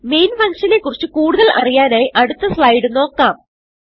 main function നെ കുറിച്ച് കൂടുതൽ അറിയാനായി അടുത്ത സ്ലൈഡ് നോക്കാം